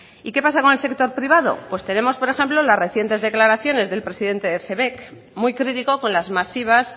y qué pasa con el sector privado pues tenemos por ejemplo las recientes declaraciones del presidente de cebek muy crítico con las masivas